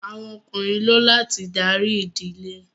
Awọn Ọkùnrin ló láti darí ìdílé